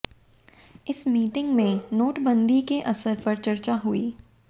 इस मीटिंग में नोटबंदी के असर पर चर्चा हुई